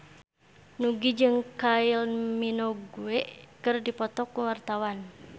Nugie jeung Kylie Minogue keur dipoto ku wartawan